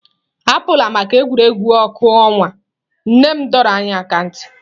Apụla maka egwuregwu ọkụ ọnwa, nne m dọrọ aka ná ntị.